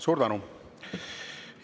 Suur tänu!